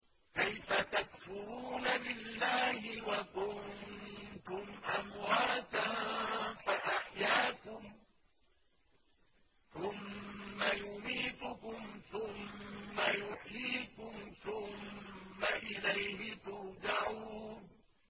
كَيْفَ تَكْفُرُونَ بِاللَّهِ وَكُنتُمْ أَمْوَاتًا فَأَحْيَاكُمْ ۖ ثُمَّ يُمِيتُكُمْ ثُمَّ يُحْيِيكُمْ ثُمَّ إِلَيْهِ تُرْجَعُونَ